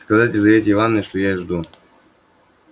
сказать лизавете ивановне что я её жду